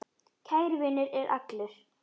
Kær vinur er allur.